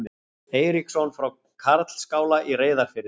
Eiríksson frá Karlsskála í Reyðarfirði.